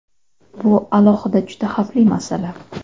Bu alohida juda xavfli masala.